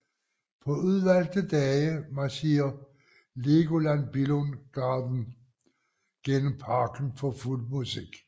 På udvalgte dage marcherer Legoland Billund Garden gennem parken for fuld musik